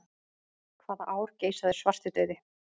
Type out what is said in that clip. Hvaða ár geisaði svartidauði?